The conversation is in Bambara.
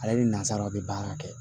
Ale ni nazaraw bɛ baara kɛ